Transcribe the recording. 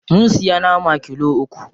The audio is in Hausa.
Mun siya nama kilo uku.